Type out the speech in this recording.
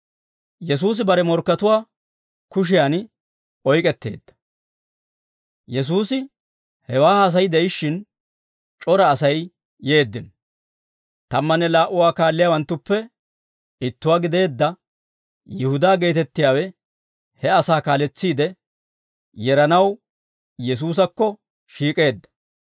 Yesuusi hewaa haasay de'ishshin, c'ora Asay yeeddino. Tammanne laa"u Aa kaalliyaawanttuppe ittuwaa gideedda Yihudaa geetettiyaawe he asaa kaaletsiide yeranaw Yesuusakko shiik'eedda.